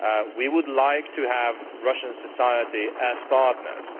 We would like to have Russian society as partners